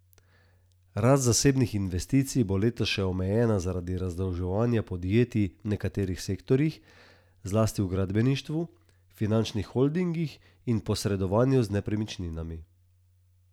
Rast zasebnih investicij bo letos še omejena zaradi razdolževanja podjetij v nekaterih sektorjih, zlasti v gradbeništvu, finančnih holdingih in posredovanju z nepremičninami.